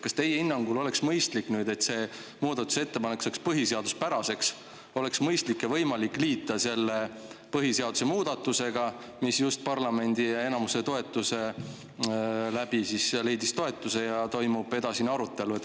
Kas teie hinnangul oleks mõistlik ja võimalik, et see muudatusettepanek saaks põhiseaduspäraseks, liita see põhiseaduse muudatuse, mis just parlamendi menetluse läbis, leidis toetuse ja nüüd toimub edasine arutelu?